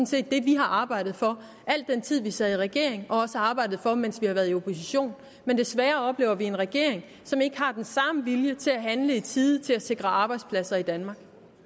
set det vi har arbejdet for al den tid vi sad i regering og har arbejdet for mens vi har været i opposition men desværre oplever vi en regering som ikke har den samme vilje til at handle i tide og til at sikre arbejdspladser i danmark